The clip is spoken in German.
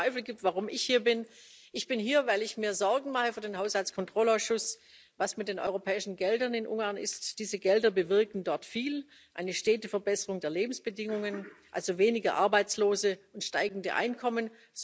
Falls es Zweifel gibt, warum ich hier bin Ich bin hier, weil ich mir für den Haushaltskontrollausschuss Sorgen mache, was mit den europäischen Geldern in Ungarn ist. Diese Gelder bewirken dort viel eine stete Verbesserung der Lebensbedingungen, also weniger Arbeitslose und steigende Einkommen.